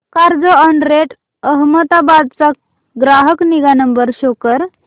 Carzonrent Ahmedabad चा ग्राहक निगा नंबर शो कर